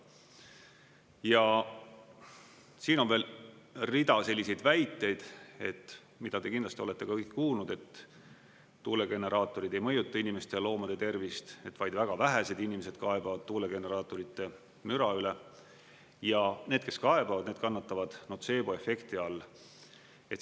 Ja siin on veel rida selliseid väiteid, mida te kindlasti olete ka kõik kuulnud, et tuulegeneraatorid ei mõjuta inimeste ja loomade tervist, et vaid väga vähesed inimesed kaebavad tuulegeneraatorite müra üle ja need, kes kaebavad, need kannatavad notseeboefekti all.